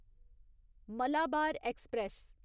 Malabar express